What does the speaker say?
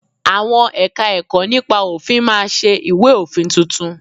Àwọn Ẹ̀ka-ẹ̀kọ́ nípa òfin máa ṣe ìwé òfin tuntun